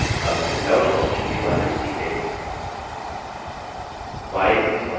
अब handouts option के बारे में सीखते हैं file और print पर click करें